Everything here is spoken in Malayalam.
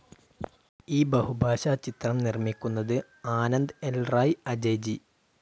ഈ ബഹുഭാഷാ ചിത്രം നിർമിക്കുന്നത് ആനന്ദ് ൽ റായ്, അജയ് ജി.